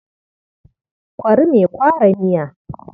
Kwari mai kwara miya.